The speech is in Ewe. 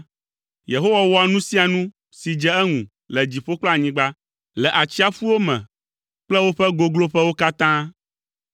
Yehowa wɔa nu sia nu si dze eŋu le dziƒo kple anyigba, le atsiaƒuwo me kple woƒe gogloƒewo katã.